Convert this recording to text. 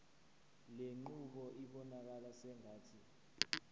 lenqubo ibonakala sengathi